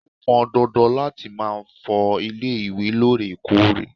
ó pọn dandan láti ma fọ ilé ìwé lóòrèkóòrè